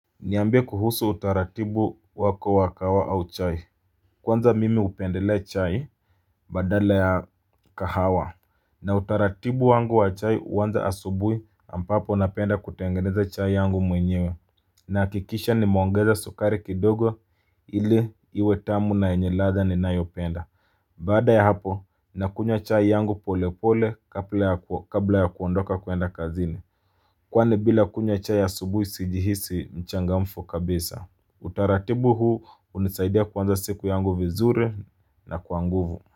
Niambe kuhusu utaratibu wako wa kahawa au chai. Kwanza mimi hupendelea chai badala ya kahawa. Na utaratibu wangu wa chai uwanza asubui, ampapo napenda kutengeneza chai yangu mwenyewe. Naakikisha nimongeza sukari kidogo, ili iwe tamu na yenye ladha ninayopenda Baada ya hapo, nakunywa chai yangu pole pole, kabla ya kuo kabla ya kuondoka kuenda kazini. Kwani bila kunya chai asubuhi sijihisi mchangamfu kabisa. Utaratibu huu, unisaidia kuanza siku yangu vizuri na kwa nguvu.